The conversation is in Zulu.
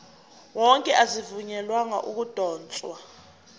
wonke azivunyelwanga ukudotshwa